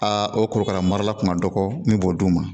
Aa o korokara marala kun ka dɔgɔ min b'o d'u ma